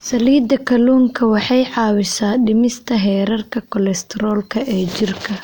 Saliidda kalluunka waxay caawisaa dhimista heerarka kolestaroolka ee jirka.